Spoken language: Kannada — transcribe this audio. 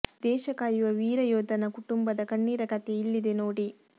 ದೇಶ ಕಾಯುವ ವೀರ ಯೋಧನ ಕುಟುಂಬದ ಕಣ್ಣೀರ ಕಥೆ ಇಲ್ಲಿದೆ ನೋಡಿ